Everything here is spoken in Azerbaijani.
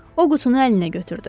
O qutunu əlinə götürdü.